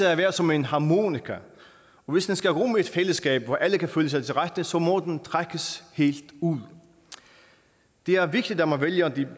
at være som en harmonika og hvis den skal rumme et fællesskab hvor alle kan føle sig til rette så må den trækkes helt ud det er vigtigt at man vælger det